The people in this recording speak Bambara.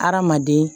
Hadamaden